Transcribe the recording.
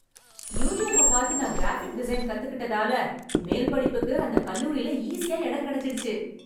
யூட்டுபை பார்த்து, நான் graphic design கத்துக்கிட்டதால, மேல்படிப்புக்கு அந்த கல்லூரியில் ஈஸியா எடம் கெடைச்சிடுச்சு..